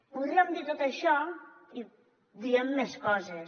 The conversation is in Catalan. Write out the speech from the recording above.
podríem dir tot això i diem més coses